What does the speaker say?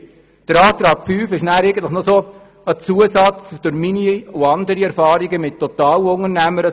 Der Antrag 5 ist ein Zusatz, der meiner und der Erfahrung anderer mit Totalunternehmern entspringtt.